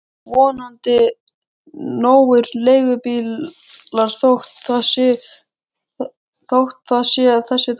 Vonandi nógir leigubílar þótt það sé þessi dagur.